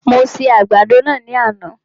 Mo se àgbàdo náà ní àná